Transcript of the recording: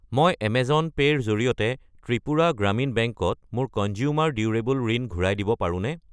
মই Amazon pay ৰ জৰিয়তে ত্ৰিপুৰা গ্ৰামীণ বেংক ত মোৰ কঞ্জ্যুমাৰ ডিউৰেবলৰ ঋণ ঘূৰাই দিব পাৰোনে?